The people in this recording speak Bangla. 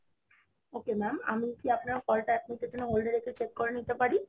ok Mam, আমি কি আপনার call টা এক মুহূর্তের জন্য hold এ রেখে check করে নিতে পারি